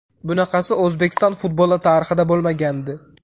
Bunaqasi O‘zbekiston futboli tarixida bo‘lmagandi.